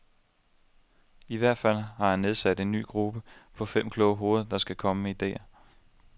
I hvert fald har han nedsat en ny gruppe på fem kloge hoveder, der skal komme med idéer.